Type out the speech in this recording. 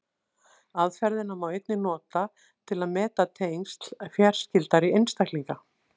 Aðferðina má einnig nota til að meta tengsl fjarskyldari einstaklinga.